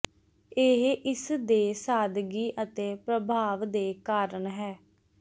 ਇਹ ਇਸ ਦੇ ਸਾਦਗੀ ਅਤੇ ਪ੍ਰਭਾਵ ਦੇ ਕਾਰਨ ਹੈ